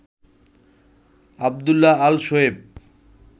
Abdullah Al Shoaib